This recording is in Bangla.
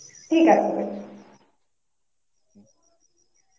ঠিক আছে গো.